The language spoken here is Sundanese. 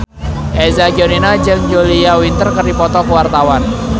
Eza Gionino jeung Julia Winter keur dipoto ku wartawan